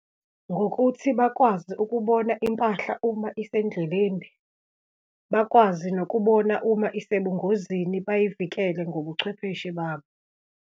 Ngokuthi bakwazi ukubona impahla uma isendleleni, bakwazi nokubona uma usebungozini, bayivikele ngobuchwepheshe babo.